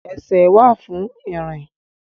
Ẹsẹ̀ wà fún ìrìn